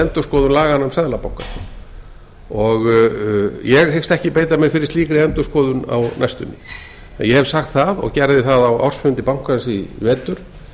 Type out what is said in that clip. endurskoðun laganna um seðlabankann ég hyggst ekki beita mér fyrir slíkri endurskoðun á næstunni en ég hef sagt það og gerði það á ársfundi bankans í vetur